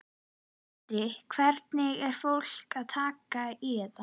Andri: Hvernig er fólk að taka í þetta?